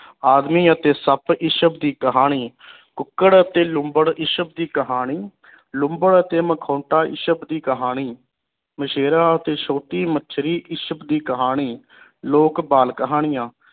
ਆਦਮੀ ਅਤੇ ਸੱਪ ਇਸਬ ਦੀ ਕਹਾਣੀ ਕੁੱਕੜ ਅਤੇ ਲੂੰਬੜ ਇਸਬ ਦੀ ਕਹਾਣੀ ਲੂੰਬੜ ਅਤੇ ਮਕੋਹਟਾ ਇਸਬ ਦੀ ਕਹਾਣੀ ਮਛੇਰਾ ਅਤੇ ਛੋਟੀ ਮੱਛਰੀ ਇਸਬ ਦੀ ਕਹਾਣੀ ਲੋਕ ਬਾਲ ਕਹਾਣੀਆਂ